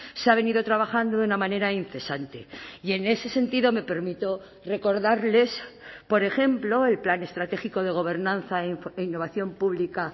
se ha venido trabajando de una manera incesante y en ese sentido me permito recordarles por ejemplo el plan estratégico de gobernanza e innovación pública